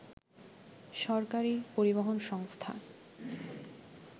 সরকারি পরিবহন সংস্থা